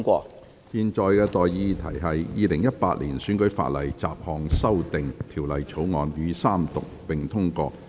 我現在向各位提出的待議議題是：《2018年選舉法例條例草案》予以三讀並通過。